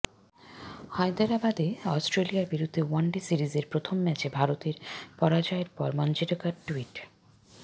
হায়দরাবাদে অস্ট্রেলিয়ার বিরুদ্ধে ওয়ানডে সিরিজের প্রথম ম্যাচে ভারতের পরাজয়ের পর মঞ্জরেকর টুইট